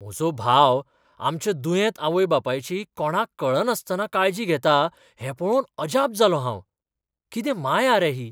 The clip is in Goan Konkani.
म्हजो भाव आमच्या दुयेंत आवय बापायची कोणाक कळनासतना काळजी घेता हें पळोवन अजाप जालों हांव. कितें माया रे ही!